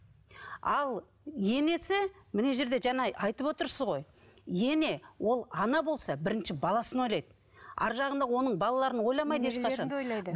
ал енесі мына жерде жаңа айтып отырсыз ғой ене ол ана болса бірінші баласын ойлайды арғы жағында оның балаларын ойламайды ешқашан